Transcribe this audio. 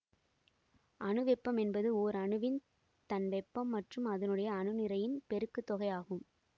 அணு வெப்பம் என்பது ஓர் அணுவின் தன் வெப்பம் மற்றும் அதனுடைய அணு நிறையின் பெருக்குத் தொகை ஆகும்